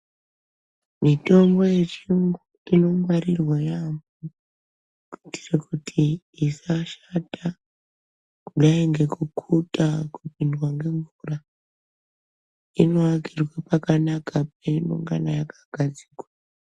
Mitombo yechiyungu inongwarirwa yaamho. Kuitire kuti isashata kudai ngekukhutwa kupindwa ngemvura. Inoakirwe pakanaka peinongana yakagadzikwa.